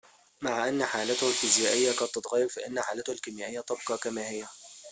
مع أن حالته الفيزيائية قد تتغير فإن حالته الكيميائية تبقي كما هي